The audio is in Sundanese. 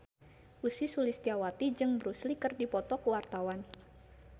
Ussy Sulistyawati jeung Bruce Lee keur dipoto ku wartawan